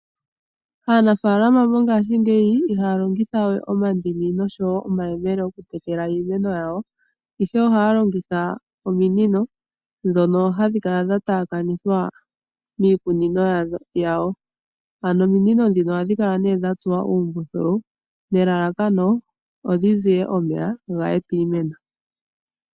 Aanafaalama mongaashingeyi ihaya longitha we omandini noshowo omayemele okutekela iimeno yayo. Ohaya longitha ominino dhono hadhi kala dhataakana miikunino yayo. Ominino ohadhi kala dhatsuwa uumbuthulu nelalakano opo dhizi ye omeya guuka piimeno